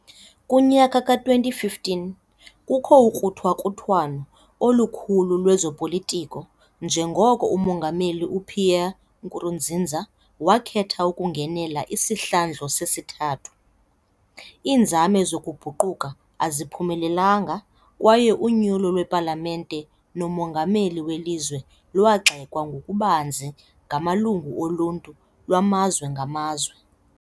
Kunyaka ka-2015 kukho ukruthakruthwano olukhulu lwezopolitiko njengoko umongameli uPierre Nkurunziza wakhetha ukungenela isihlandlo sesithathu, iinzame zokubhukuqa aziphumelelanga kwaye unyulo lwepalamente nomongameli welizwe lwagxekwa ngokubanzi ngamalungu oluntu lwamazwe ngamazwe.